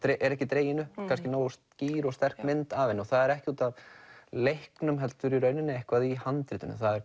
er ekki dregin upp nógu skýr og sterk mynd af henni það er ekki út af leiknum heldur einhverju í handritinu það er